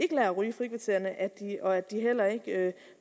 ryge i frikvartererne og at de heller ikke